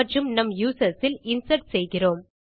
மற்றும் நம் யூசர்ஸ் இல் இன்சர்ட் செய்கிறோம்